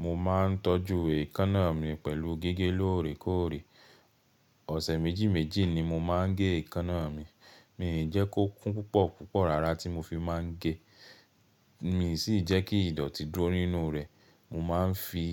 Mo máa ń tọ́jú èékánná mi pẹ̀lú gígé lóòrèkóòrè. Ọ̀sẹ̀ méjì méjì ni mo máa ń gé èékánná mi. Mi i jẹ́ kó kún púpọ̀ púpọ̀ rárá tí mo fi máa ń gé, mi sì jẹ́ kí ìdọ̀tí dúró nínú rẹ. Mo máa ń fi